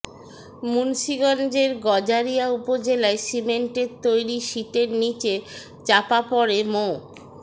মুন্সীগঞ্জের গজারিয়া উপজেলায় সিমেন্টের তৈরি শিটের নিচে চাপা পড়ে মো